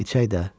İçək də.